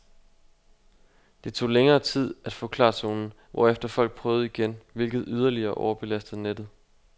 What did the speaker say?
Det tog længere tid at få klartonen, hvorefter folk prøvede igen, hvilket yderligere overbelastede nettet.